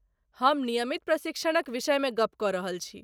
हम नियमित प्रशिक्षणक विषय मे गप्प क रहल छी।